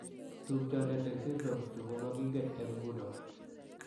Tupchondet eng' syndromes chu ko maging'en eng' ng'uno.